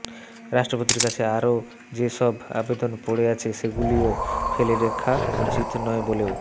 রাষ্ট্রপতির কাছে আরও যে সব আবেদন পড়ে আছে সেগুলিও ফেলে রাখা উচিত নয় বলেও